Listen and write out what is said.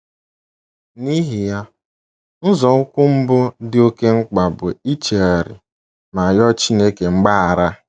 N’ihi ya, nzọụkwụ mbụ dị oké mkpa bụ ichegharị ma rịọ Chineke mgbaghara.